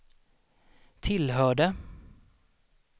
tillhörde